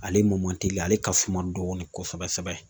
Ale mɔn man tilen ale ka suma dɔɔni kosɛbɛ